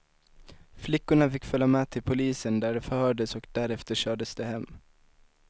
Flickorna fick följa med till polisen där de förhördes och därefter kördes de hem.